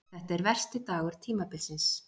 Þetta er versti dagur tímabilsins.